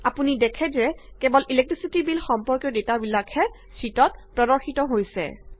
আপুনি দেখে যে কেৱল ইলেক্ট্ৰিচিটি বিল সম্পৰ্কীয় ডেটাবিলাকহে শ্যিটত প্ৰদৰ্শিত হৈছে